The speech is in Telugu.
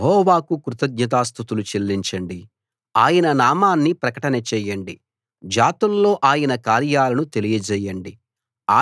యెహోవాకు కృతజ్ఞతాస్తుతులు చెల్లించండి ఆయన నామాన్ని ప్రకటన చేయండి జాతుల్లో ఆయన కార్యాలను తెలియచేయండి